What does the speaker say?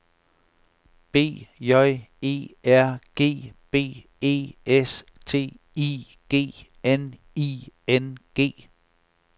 B J E R G B E S T I G N I N G